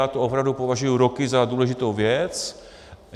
Já to opravdu považuji roky za důležitou věc.